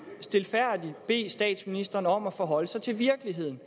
stilfærdigt bede statsministeren om at forholde sig til virkeligheden